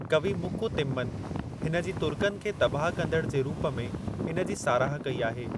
कवि मुकु तिम्मन हिन जी तुर्कनि खे तबाह कंदड़ जे रूप में इन जी साराह कई आहे।